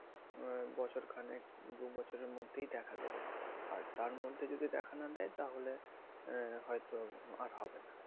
বছরখানেক দুইবছরের মধ্যে দেখা দেবে আর তার মধ্যে যদি দেখা না দেয় তাহলে হয়তো আর হবে না